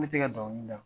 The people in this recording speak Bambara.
Ne tɛ ka dɔnkili da